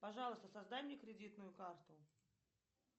пожалуйста создай мне кредитную карту